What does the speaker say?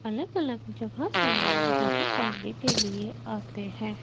अलग अलग जगह से लोग यहां पढ़ने के लिए आते हैं।